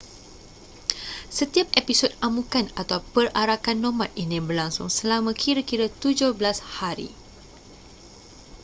setiap episod amukan atau perarakan nomad ini berlangsung selama kira-kira 17 hari